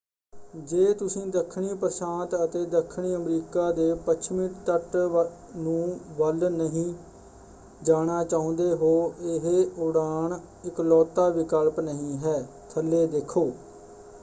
ਜੇ ਤੁਸੀਂ ਦੱਖਣੀ ਪ੍ਰਸ਼ਾਂਤ ਅਤੇ ਦੱਖਣੀ ਅਮਰੀਕਾ ਦੇ ਪੱਛਮੀ ਤੱਟ ਨੂੰ ਵੱਲ ਨਹੀਂ ਜਾਣਾ ਚਾਹੁੰਦੇ ਹੋ ਇਹ ਉਡਾਣ ਇੱਕਲੌਤਾ ਵਿਕਲਪ ਨਹੀਂ ਹੈ । ਥੱਲੇ ਦੇਖੋ